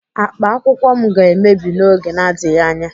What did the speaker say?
Akpa akwụkwọ m ga-emebi n'oge na-adịghị anya.